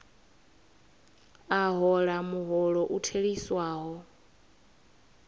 a hola muholo u theliswaho